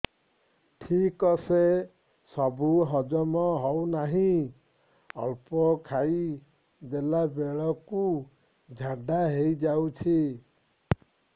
ଠିକସେ ସବୁ ହଜମ ହଉନାହିଁ ଅଳ୍ପ ଖାଇ ଦେଲା ବେଳ କୁ ଝାଡା ହେଇଯାଉଛି